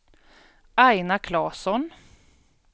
Aina Klasson